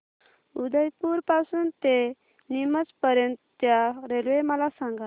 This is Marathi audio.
उदयपुर पासून ते नीमच पर्यंत च्या रेल्वे मला सांगा